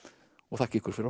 þakka ykkur fyrir